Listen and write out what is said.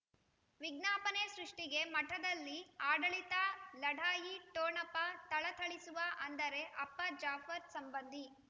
ವಿಜ್ಞಾಪನೆ ಸೃಷ್ಟಿಗೆ ಮಠದಲ್ಲಿ ಆಡಳಿತ ಲಢಾಯಿ ಠೊಣಪ ಥಳಥಳಿಸುವ ಅಂದರೆ ಅಪ್ಪ ಜಾಫರ್ ಸಂಬಂಧಿ